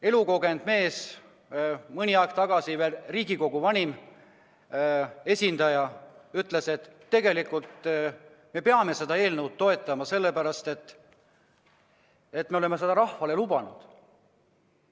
Elukogenud mees, mõni aeg tagasi veel Riigikogus vanim esindaja, ütles, et tegelikult me peame seda eelnõu toetama, sest me oleme seda rahvale lubanud.